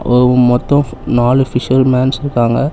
ஒஒ மொத்தோ நாலு ஃபிஷ்ஷர்மேன்ஸ் இருக்காங்க.